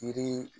Yiri